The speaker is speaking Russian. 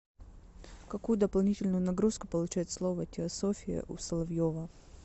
какую дополнительную нагрузку получает слово теософия у соловьева